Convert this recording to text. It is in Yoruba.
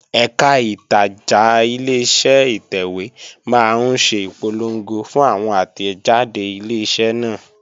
Ẹ̀kà ìtajà Ileṣẹ́ ìtẹ̀wé máa ń ṣe ìpolongo fún àwọn àtẹ̀jáde Ileṣẹ́ náà